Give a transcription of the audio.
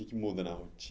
O quê que muda na rotina?